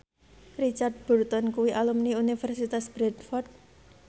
Richard Burton kuwi alumni Universitas Bradford